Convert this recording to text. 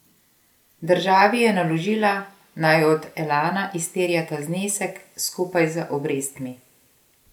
Državi je naložila, naj od Elana izterja ta znesek skupaj z obrestmi.